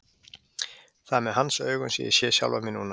Það er með hans augum sem ég sé sjálfa mig núna.